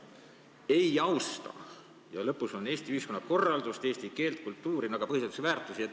ei austa" ja lõpus on "Eesti ühiskonna korraldust, eesti keelt ja kultuuri" ehk põhiseaduslikke väärtusi.